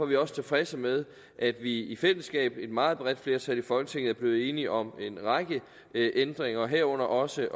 vi også tilfredse med at vi i fællesskab og med et meget bredt flertal i folketinget er blevet enige om en række ændringer herunder også